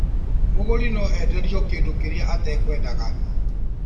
Mũgũri no enderio kĩndũ kĩrĩa atakwendaga